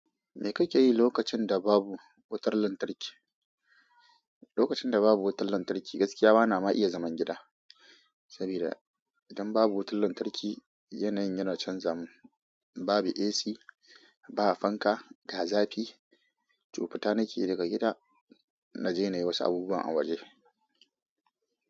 Me kake yi lokacin da babu wutar lantarki? Lokacin da babu wutar lantarki, gaskiya bana ma iya zaman gida. Sabida idan babu wutar lantarki, yanayin yana canza min. Babu AC, ba fanka, ga zafi. To futa nakeyi daga gida, na je na yi wasu abubuwa a waje.